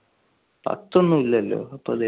പത്തൊന്നും ഇല്ലാലോ